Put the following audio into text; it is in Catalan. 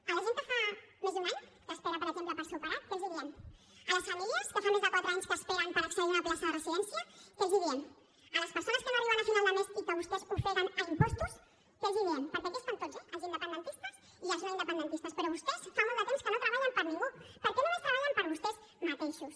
a la gent que fa més d’un any que espera per exemple per ser operat què els diem a les famílies que fa més de quatre anys que esperen per accedir a una plaça de residència què els diem a les persones que no arriben a final de mes i que vostès ofeguen a impostos què els diem perquè aquí estan tots eh els independentistes i els no independentistes però vostès fa molt de temps que no treballen per ningú perquè només treballen per vostès mateixos